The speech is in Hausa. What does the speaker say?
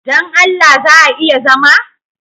Don Allah za a iya zama?